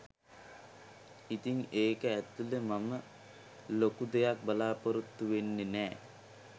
ඉතිං ඒක ඇතුළෙ මම ලොකු දෙයක් බලාපොරොත්තු වෙන්නෙ නෑ